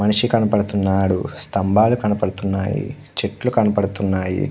మనిషి కనబడుతూ వున్నాడు. సంబల్లు కనబడుతూ వున్నాయ్. చేతుల్లు కనబడుతూ వున్నాయ్.